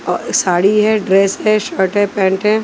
साड़ी है ड्रेस है शर्ट है पेंट है।